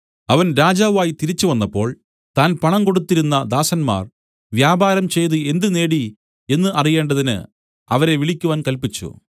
അവൻ രാജാവായി തിരിച്ചുവന്നപ്പോൾ താൻ പണം കൊടുത്തിരുന്ന ദാസന്മാർ വ്യാപാരം ചെയ്തു എന്ത് നേടി എന്നു അറിയേണ്ടതിന് അവരെ വിളിക്കുവാൻ കല്പിച്ചു